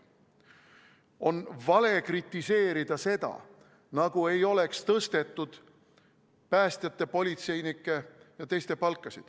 On vale kritiseerida, nagu ei oleks tõstetud päästjate, politseinike ja teiste palka.